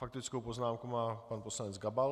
Faktickou poznámku má pan poslanec Gabal.